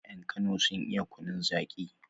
Yan kano sun iya kunun zaki